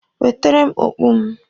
Wetere m okpu m!